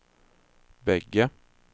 bägge